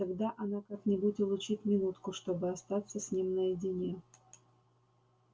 тогда она как-нибудь улучит минутку чтобы остаться с ним наедине